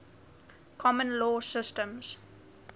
common law systems